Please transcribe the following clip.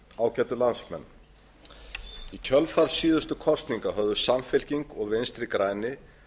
ágætu landsmenn í kjölfar síðustu kosninga höfðu samfylking og vinstri grænir